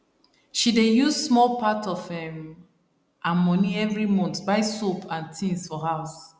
she dey use small part of um her money every month buy soap and things for house